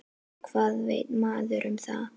Hvað veit maður um það?